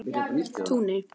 Túni